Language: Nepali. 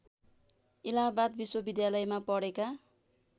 इलाहाबाद विश्वविद्यालयमा पढेका